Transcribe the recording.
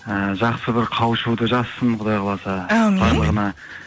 і жақсы бір қауышуды жазсын құдай қаласа әумин барлығына